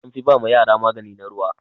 An fi ba ma yara magani na ruwa.